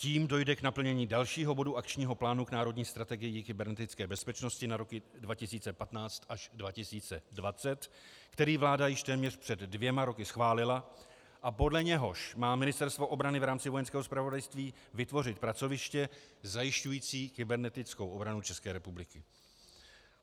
Tím dojde k naplnění dalšího bodu Akčního plánu k Národní strategii kybernetické bezpečnosti na roky 2015 až 2020, který vláda již téměř před dvěma roky schválila a podle něhož má Ministerstvo obrany v rámci Vojenského zpravodajství vytvořit pracoviště zajišťující kybernetickou obranu České republiky.